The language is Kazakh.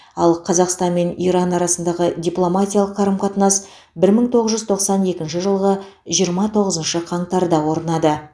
ал қазақстан мен иран арасындағы дипломатиялық қарым қатынас бір мың тоғыз жүз тоқсан екінші жылғы жиырма тоғызыншы қаңтарда орнады